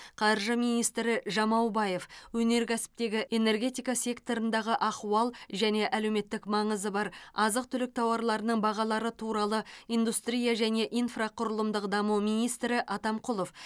қаржы министрі жамаубаев өнеркәсіптегі энергетика секторындағы ахуал және әлеуметтік маңызы бар азық түлік тауарларының бағалары туралы индустрия және инфрақұрылымдық даму министрі атамқұлов